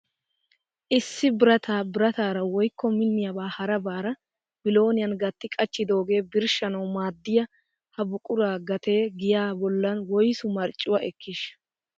Issi birata birataara woykko minniyaaba harabaara bilooniyaan gatti qachchidooga birshshanawu maaddiya ha buquraa gatee giyaa bollan woyssu marccuwaa ekkiishsha ?